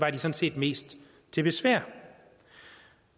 set mest til besvær